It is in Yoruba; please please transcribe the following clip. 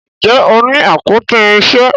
Njé o ní àpótí irinṣẹ?